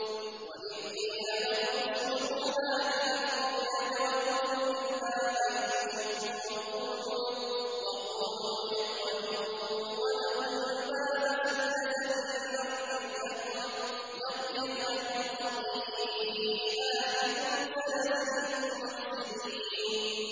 وَإِذْ قِيلَ لَهُمُ اسْكُنُوا هَٰذِهِ الْقَرْيَةَ وَكُلُوا مِنْهَا حَيْثُ شِئْتُمْ وَقُولُوا حِطَّةٌ وَادْخُلُوا الْبَابَ سُجَّدًا نَّغْفِرْ لَكُمْ خَطِيئَاتِكُمْ ۚ سَنَزِيدُ الْمُحْسِنِينَ